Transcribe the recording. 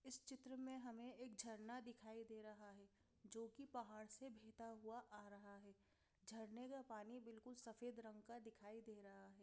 इस चित्र में हमें एक झरना दिखाई दे रहा है जो कि पहाड़ से बहता हुआ आ रहा है झरने का पानी बिल्कुल सफ़ेद रंग का दिखाई दे रहा है।